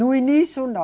No início, não.